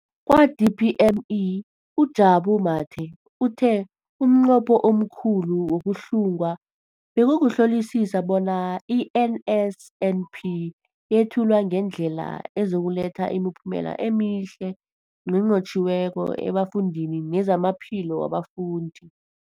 Kwa-DPME, uJabu Mathe, uthe umnqopho omkhulu wokuhlunga bekukuhlolisisa bona i-NSNP yethulwa ngendlela ezokuletha imiphumela emihle nenqotjhiweko efundweni nezamaphilo wabafundi.